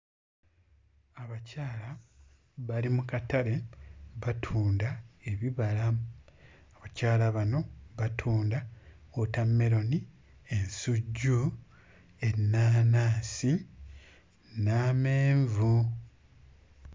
Abakyala bali mu katale batunda ebibala abakyala bano batunda wootammeroni, ensujju, ennaanaasi n'amenvu.